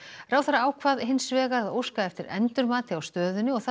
ráðherra ákvað hins vegar að óska eftir endurmati á stöðunni og þarf